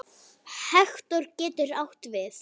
Hektor getur átt við